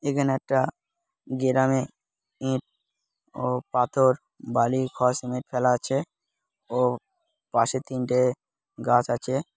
এখানে একটা গেরামে ইট ও ও পাথর . বালি খোয়া সিমেন্ট ফেলা আছে পাশে তিনটে গাছ আছে।